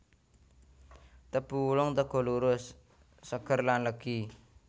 Tebu wulung teguh lurus seger lan legi